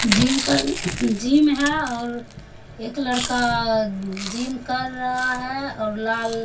gym कर gym है और एक लड़का जिम कर रहा है और लाल --